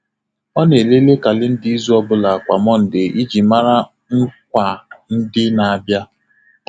Ọ na-elele kalenda izu ọ bụla kwa Mọnde iji mara nkwa ndị na-abịa.